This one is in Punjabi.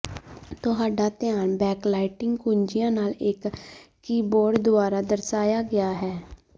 ਤੁਹਾਡਾ ਧਿਆਨ ਬੈਕਲਾਇਟਿੰਗ ਕੁੰਜੀਆਂ ਨਾਲ ਇੱਕ ਕੀਬੋਰਡ ਦੁਆਰਾ ਦਰਸਾਇਆ ਗਿਆ ਹੈ